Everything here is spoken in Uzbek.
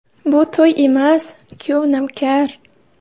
Bu to‘y emas, kuyov-navkar.